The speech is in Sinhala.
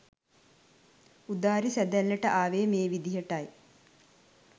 උදාරි සැඳැල්ලට ආවේ මේ විදියටයි.